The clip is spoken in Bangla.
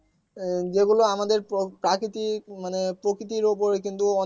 উম যেগুলো আমাদের মানে প্রকৃতির উপরে কিন্তু